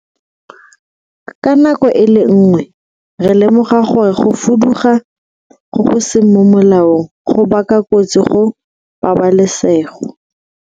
Ka nako e le nngwe, re lemoga gore go fuduga go go seng mo molaong go baka kotsi go pabalesego,